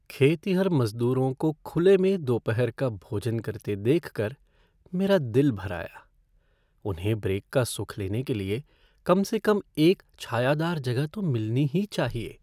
खेतिहर मज़दूरों को खुले में दोपहर का भोजन करते देख कर मेरा दिल भर आया। उन्हें ब्रेक का सुख लेने के लिए कम से कम एक छायादार जगह तो मिलनी ही चाहिए।